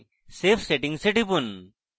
save settings এ টিপুন